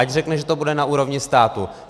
Ať řekne, že to bude na úrovni státu.